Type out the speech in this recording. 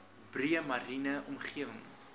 breë mariene omgewing